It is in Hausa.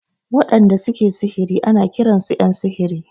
Waɗanda su ke sihiri ana kiran su ƴan sihiri.